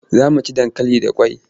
Za mu ci dankali da kwai.